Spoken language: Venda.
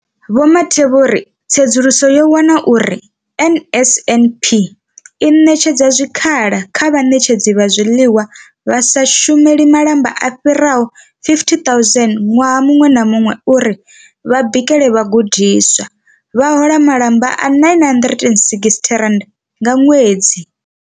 Vho Mathe vho ri tsedzuluso yo wana uri NSNP i ṋetshedza zwikhala kha vhaṋetshedzi vha zwiḽiwa vha sa shumeli malamba vha fhiraho 50 000 ṅwaha muṅwe na muṅwe uri vha bikele vhagudiswa, vha hola malamba a R960 nga ṅwedzi.